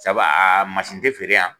Sabu a a masin tɛ feere yan.